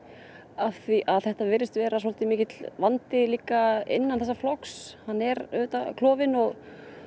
af því að þetta virðist vera svolítið mikill vandi innan þessa flokks hann er auðvitað klofinn og